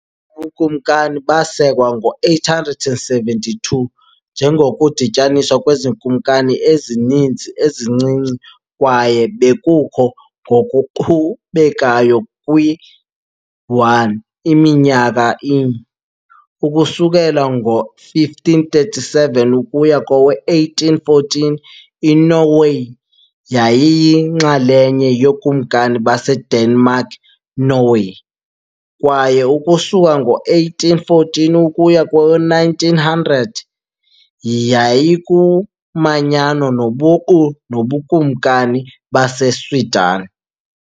Ubukumkani basekwa ngo-872 njengokudityaniswa kwezikumkani ezininzi ezincinci kwaye bekukho ngokuqhubekayo kwi-1, Iminyaka i . Ukusukela ngo-1537 ukuya kowe-1814, iNorway yayiyinxalenye yokumkani baseDenmark-Norway, kwaye, ukusuka ngo-1814 ukuya kowe-1900, yayikumanyano lobuqu noBukumkani baseSweden.